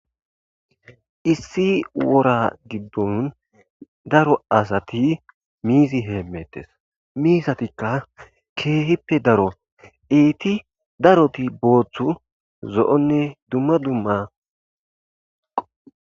Issi wora giddon daro asati miizi heemmettes miisatikka keehippe daro iiti daroti booththu zo,onne dumma dumma.